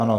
Ano.